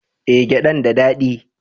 Eh, gyadan da dadi